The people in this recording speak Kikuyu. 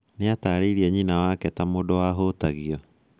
Nĩatarĩirie nyina wake ta mũndũ wahutagio.